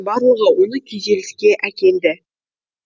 барлығы оны күйзеліске әкелді